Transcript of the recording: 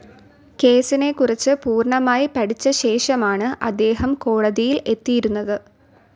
കേസിനെക്കുറിച്ച് പൂർണ്ണമായി പഠിച്ച ശേഷമാണ് അദ്ദേഹം കോടതിയിൽ എത്തിയിരുന്നത്.